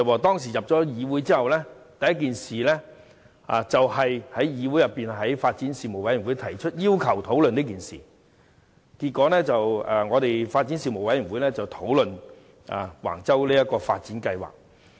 他進入議會後，所做的第一件事是在發展事務委員會要求討論這件事，結果發展事務委員會便討論橫洲發展計劃。